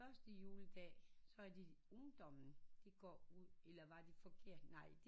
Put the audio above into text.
Første juledag så er de ungdommen de går ud eller var det forkert nej